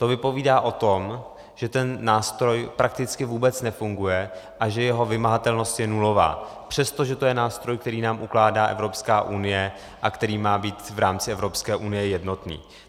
To vypovídá o tom, že ten nástroj prakticky vůbec nefunguje a že jeho vymahatelnost je nulová, přestože to je nástroj, který nám ukládá Evropská unie a který má být v rámci Evropské unie jednotný.